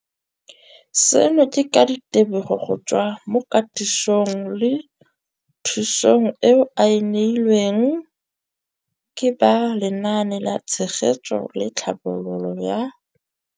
Seno ke ka ditebogo go tswa mo katisong le thu song eo a e neilweng ke ba Lenaane la Tshegetso le Tlhabololo ya